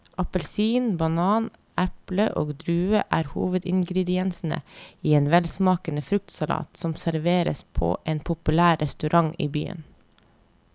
Appelsin, banan, eple og druer er hovedingredienser i en velsmakende fruktsalat som serveres på en populær restaurant i byen.